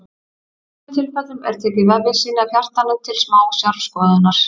í sumum tilfellum er tekið vefjasýni af hjartanu til smásjárskoðunar